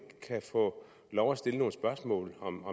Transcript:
kan få lov at stille nogle spørgsmål om